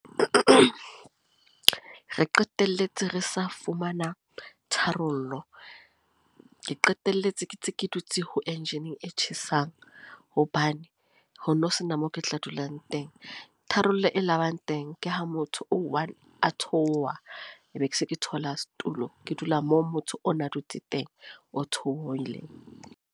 Re qeteletse re sa fumana tharollo. Ke qeteletse ke ntse ke dutse ho engine e tjhesang. Hobane ho no sena moo ke tla dulang teng. Tharollo e labang teng, ke ha motho o one a theoha. Be ke se ke thola setulo. Ke dula moo motho ona dutse teng, o theohileng.